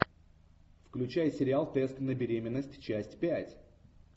включай сериал тест на беременность часть пять